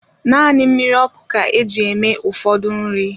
Naanị mmiri ọkụ ka eji eme ụfọdụ nri